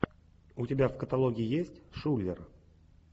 у тебя в каталоге есть шулер